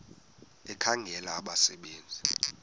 ekhangela abasebe nzi